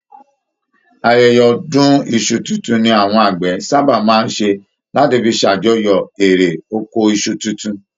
Ayẹyẹ ọdun iṣu tuntun ní àwọn àgbẹ sábà máa ṣé láti fí s'ajọ̀yọ eré oko Isu títún.